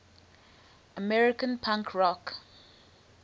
american punk rock